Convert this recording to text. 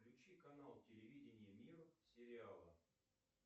включи канал телевидения мир сериала